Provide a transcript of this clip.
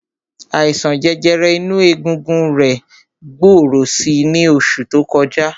Àìsàn jẹjẹrẹ inú egungun rẹ̀ gbòòrò si ní oṣù tó kọjá.